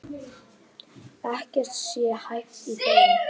Ekkert sé hæft í þeim